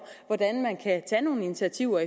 hvordan man kan tage nogle initiativer